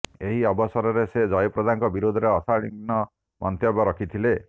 ଏହି ଅବସରରେ ସେ ଜୟାପ୍ରଦାଙ୍କ ବିରୋଧରେ ଅଶାଳୀନ ମନ୍ତବ୍ୟ ରଖିଥିଲେ